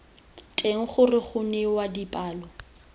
teng gore go newa dipalo